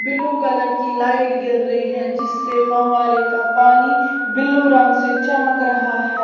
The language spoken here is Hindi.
ब्लू कलर की लाइट गिर रही है जिससे फव्वारे का पानी बिल्लू रंग से चमक रहा है।